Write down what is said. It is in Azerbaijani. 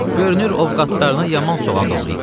Görünür, ovqatlarına yaman soğan doğrayıb.